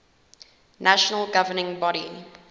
national governing body